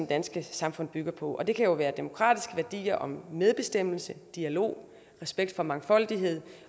danske samfund bygger på det kan jo være demokratiske værdier om medbestemmelse dialog respekt for mangfoldighed